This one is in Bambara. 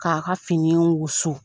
K'a ka fini wusu.